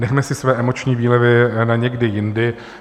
Nechme si své emoční výlevy na někdy jindy.